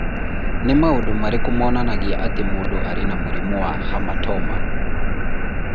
Nĩ maũndũ marĩkũ monanagia atĩ mũndũ arĩ na mũrimũ wa Hamartoma?